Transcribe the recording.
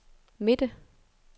midte